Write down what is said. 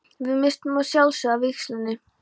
Við misstum að sjálfsögðu af vígslunni.